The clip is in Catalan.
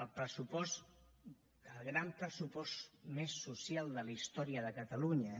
en el pressupost el gran pressupost més social de la història de catalunya